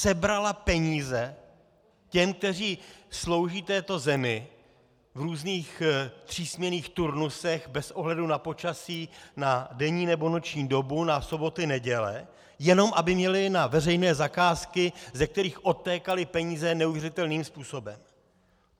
Sebrala peníze těm, kteří slouží této zemi v různých zpřísněných turnusech bez ohledu na počasí, na denní nebo noční dobu, na soboty, neděle, jenom aby měli na veřejné zakázky, ze kterých odtékaly peníze neuvěřitelným způsobem.